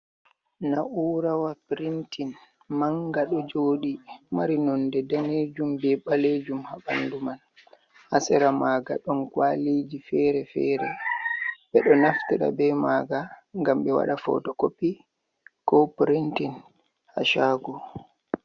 Na’urawa printein, manga do jodi mari nonde danejum, be balejum. ha bandu man, hasira maga don kwaliji fere-fere be do naftida be maga gam be wada foto kopi, ko printein hashagu.